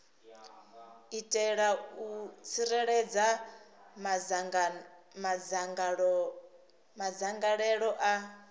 itela u tsireledza madzangalelo a